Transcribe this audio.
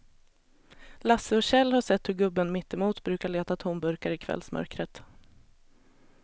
Lasse och Kjell har sett hur gubben mittemot brukar leta tomburkar i kvällsmörkret.